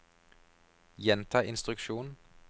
gjenta instruksjon